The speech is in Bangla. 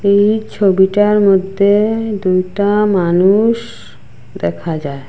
এই ছবিটার মধ্যে দুইটা মানুষ দেখা যায়।